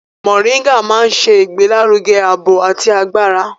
Mọ̀ríngà máa ń ṣe ìgbélárugẹ ààbò àti agbára.